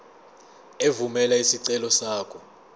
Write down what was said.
evumela isicelo sakho